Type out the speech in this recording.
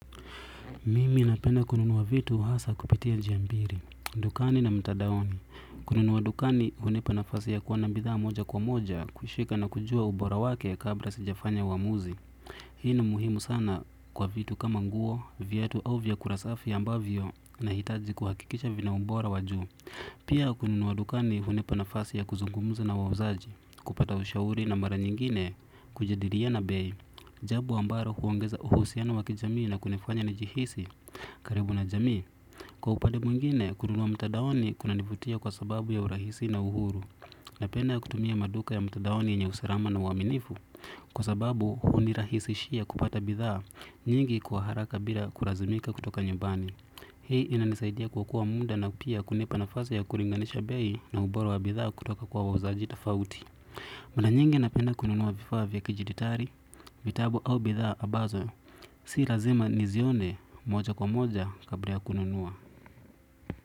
Mimi napenda kununuwa vitu hasa kupitia njia mbili. Dukani na mtandaoni. Kununuwa dukani hunipa nafasi ya kuona bidhaa moja kwa moja, kushika na kujua ubora wake kabla sijafanya uwamuzi. Hii na muhimu sana kwa vitu kama nguo, viatu au vyakula safi ambavyo na hitaji kuhakikisha vina ubora wajuu. Pia kununuwa dukani hunipa nafasi ya kuzungumuza nawauzaji, kupata ushauri na mara nyingine, kujadiliana bei. Jambo ambalo huongeza uhusiano wakijamii na kunifanya nijihisi karibu na jamii. Kwa upande mwingine, kununua mtandaoni kuna nivutia kwa sababu ya urahisi na uhuru. Napenda kutumia maduka ya mtandaoni yenye usalama na uaminifu. Kwa sababu hunirahisishia kupata bidhaa nyingi kwa haraka bila kulazimika kutoka nyumbani. Hii inanisaidia kuokoa muda na pia kunipa nafasa ya kulinganisha bei na ubora wa bidhaa kutoka kwa wauzaji tafauti mara nyingi napenda kununua vifaa vya kijiditali, vitabu au bidhaa ambazo. Si lazima nizione moja kwa moja kabla ya kununuwa.